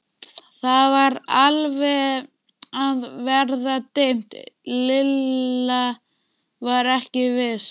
Það var alveg að verða dimmt, Lilla var ekki viss.